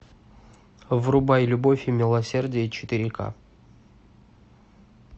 врубай любовь и милосердие четыре ка